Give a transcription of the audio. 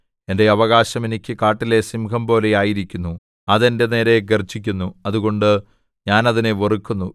എന്റെ അവകാശം എനിക്ക് കാട്ടിലെ സിംഹംപോലെ ആയിരിക്കുന്നു അത് എന്റെ നേരെ ഗർജ്ജിക്കുന്നു അതുകൊണ്ട് ഞാൻ അതിനെ വെറുക്കുന്നു